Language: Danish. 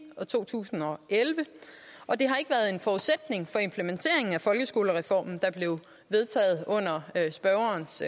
og to tusind og elleve og det har ikke været en forudsætning for implementeringen af folkeskolereformen der blev vedtaget under spørgerens